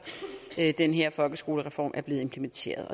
den her folkeskolereform er blevet implementeret